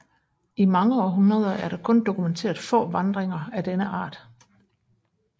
I mange århundreder er der kun dokumenteret få vandringer af denne art